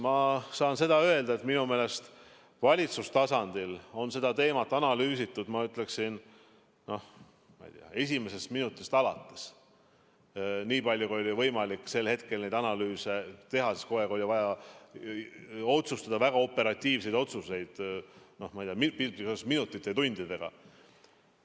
Ma saan öelda, et minu meelest valitsustasandil on seda teemat analüüsitud, ma ei tea, esimesest minutist alates, niipalju kui oli võimalik sel hetkel neid analüüse teha, sest kogu aeg oli vaja teha väga operatiivseid otsuseid, minutite ja tundidega.